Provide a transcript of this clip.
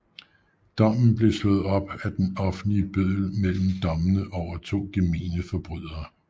Dommen blev slået op af den offentlige bøddel mellem dommene over to gemene forbrydere